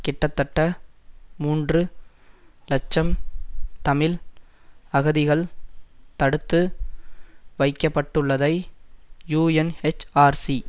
கிட்டத்தட்ட மூன்று இலட்சம் தமிழ் அகதிகள் தடுத்து வைக்கப்பட்டுள்ளதை யூஎன்எச்ஆர்சி